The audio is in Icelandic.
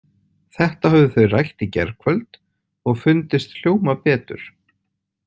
Þetta höfðu þau rætt í gærkvöld og fundist hljóma betur.